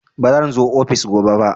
Baran zo ofis gobe ba